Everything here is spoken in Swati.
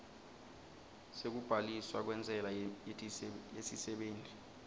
sekubhaliswa kwentsela yesisebenti